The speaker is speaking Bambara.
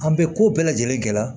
An bɛ ko bɛɛ lajɛlen kɛ